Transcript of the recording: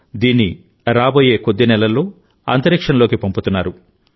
దీన్ని రాబోయే కొద్ది నెలల్లో అంతరిక్షంలోకి పంపుతున్నారు